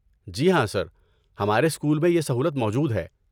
جی ہاں، سر، ہمارے اسکول میں یہ سہولت موجود ہے۔